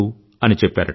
అని చెప్పారట